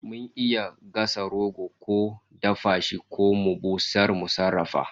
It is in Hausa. Mun iya gasa roko ko a dafa shi ko mu busar mu sarrafa